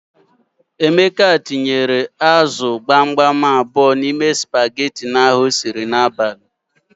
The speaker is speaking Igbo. Emeka tinyere ázụ̀ gbamgbam abụọ n'ime spageti ahụ o siri n'abalị.